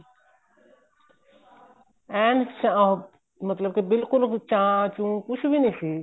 ਐਨ ਅਹ ਮਤਲਬ ਕੇ ਬਿਲਕੁਲ ਚਾ ਚੂ ਕੁੱਛ ਵੀ ਨਹੀਂ ਸੀ